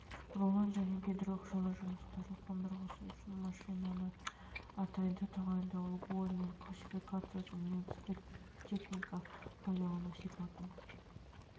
рулон және гидрооқшаулау жұмыстары қондырғысы үшін машинаны атайды тағайындалуы мен классификациясын және негізгі техника пайдалану сипатын